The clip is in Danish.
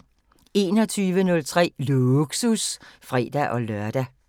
21:03: Lågsus (fre-lør)